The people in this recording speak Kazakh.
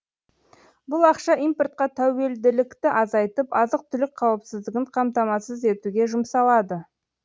бұл ақша импортқа тәуелділікті азайтып азық түлік қауіпсіздігін қамтамасыз етуге жұмсалады